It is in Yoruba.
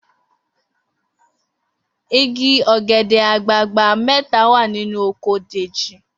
Igi ò̩gè̩dè̩ àgbagbà mé̩ta wà nínú oko Dèjì